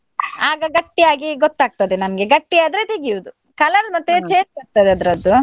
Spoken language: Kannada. ಆಗ ಗಟ್ಟಿಯಾಗಿ ಗೊತ್ತಾಗ್ತದೆ ನನ್ಗೆ ಗಟ್ಟಿ ಆದ್ರೆ ತೆಗಿಯುದು. colour change ಆಗ್ತದೆ ಅದ್ರದ್ದು.